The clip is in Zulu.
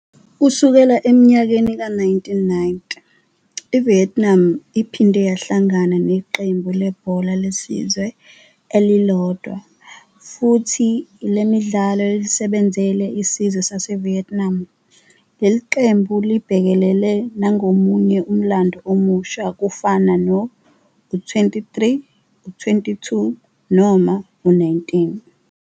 Kusukela eminyakeni ka-1990, iVietnam iphinde yahlangana neqembu lebhola lesizwe elilodwa, futhi lelidlalo lisebenzele isizwe saseVietnam. Leqembu libhekelele nangomunye umlando omusha kufanana no-U-23, U-22 noma U-19.